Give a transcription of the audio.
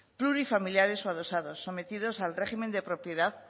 plurifamiliares o adosados sometidos al régimen de propiedad